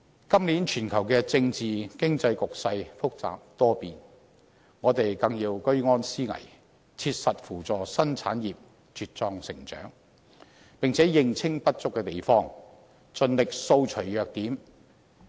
今年全球政治及經濟局勢複雜多變，我們更要居安思危，切實扶助新產業茁壯成長，並且認清不足之處，盡力掃除弱點。